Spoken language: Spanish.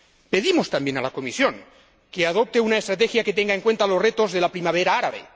Pedimos también a la Comisión que adopte una estrategia que tenga en cuenta los retos de la primavera árabe